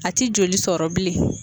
A ti joli sɔrɔ bilen.